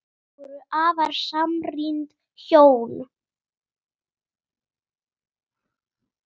Þau voru afar samrýnd hjón.